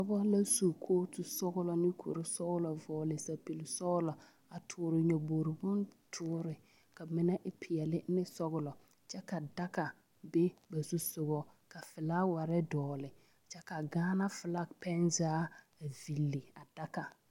Noba la su kooto sɔgla vɔgle sapili sɔglɔ a tɔɔre nyɔbogri boŋ tɔɔre ka mine e peɛle ne sɔglɔ kyɛ ka daga be ba zusɔgɔ ka filaaware dɔgle kyɛ ka Gaana filaki pɛne zaa vili a daga.